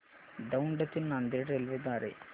दौंड ते नांदेड रेल्वे द्वारे